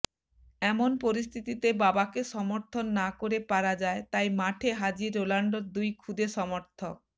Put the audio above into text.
এমন পরিস্থিতিতে বাবাকে সমর্থন না করে পারা যায় তাই মাঠে হাজির রোনাল্ডোর খুদে দুই সমর্থক